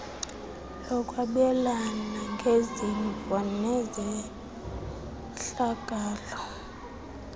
lokwabelana ngezimvo nezehlakalo